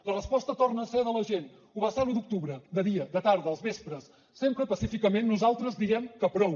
la resposta torna a ser de la gent ho va ser l’un d’octubre de dia de tarda als vespres sempre pacíficament nosaltres diem que prou